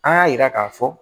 An y'a yira k'a fɔ